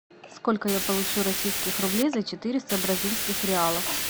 сколько я получу российских рублей за четыреста бразильских реалов